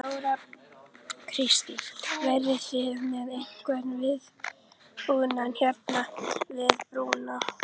Þóra Kristín: Verðið þið með einhvern viðbúnað hérna við brúna?